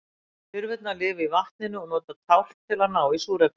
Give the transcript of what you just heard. lirfurnar lifa í vatninu og nota tálkn til að ná í súrefni